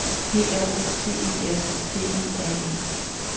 P R O T E S T E R E